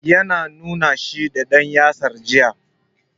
Ya na nuna shi da ɗan yatsa jiya.